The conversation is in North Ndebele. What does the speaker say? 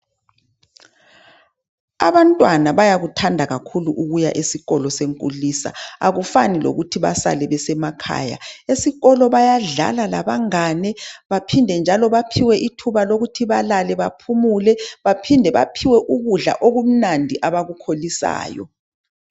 Abantwana bayakuthanda kakhulu ukuya esikolo senkulisa, akufani lokuthi basale besemakhaya. Esikolo bayadlala labangane, baphinde njalo baphiwe ithuba lokuthi balale baphumule, baphinde baphiwe ukudla okumnandi abakukholisayo.